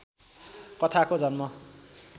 कथाको जन्म